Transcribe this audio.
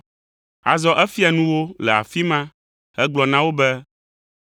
Azɔ efia nu wo le afi ma hegblɔ na wo be,